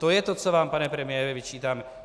To je to, co vám, pane premiére, vyčítáme.